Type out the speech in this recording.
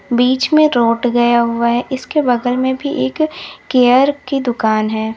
बीच में रोड गया हुआ है इसके बगल में भी एक केयर की दुकान है।